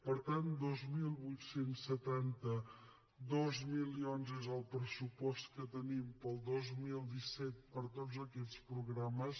per tant dos mil vuit cents i setanta dos milions és el pressupost que tenim per al dos mil disset per a tots aquests programes